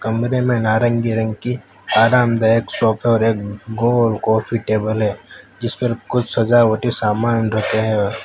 कमरे में नारंगी रंग की आरामदायक सोफे और एक गोल काफी टेबल है जिस पर कुछ सजावटी सामान रखे हैं।